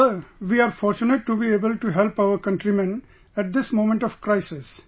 Sir we are fortunate to be able to help our countrymen at this moment of crisis